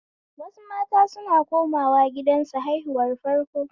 Wasu mata suna komawa gidansu haihuwan farko